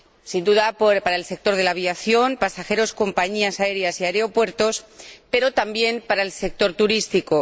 sin duda, para el sector de la aviación —pasajeros, compañías aéreas y aeropuertos—, pero también para el sector turístico.